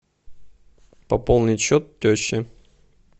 пополнить счет теще